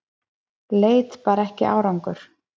Leit bar ekki árangur